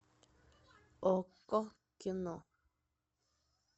окко кино